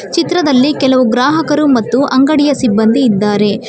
ಚಿತ್ರದಲ್ಲಿ ಕೆಲವು ಗ್ರಾಹಕರು ಮತ್ತು ಅಂಗಡಿಯ ಸಿಬ್ಬಂದಿ ಇದ್ದಾರೆ.